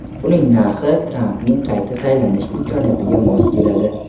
Uning narxi Trampning qayta saylanish imkoniyatiga mos keladi.